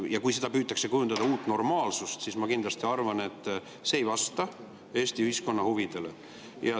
Ja kui seda püütakse kujutada kui uut normaalsust, siis ma kindlasti arvan, et see ei vasta Eesti ühiskonna huvidele.